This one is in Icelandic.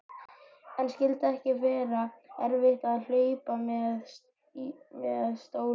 En skyldi ekki vera erfitt að hlaupa með stólinn?